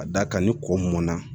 Ka d'a kan ni ko mɔnna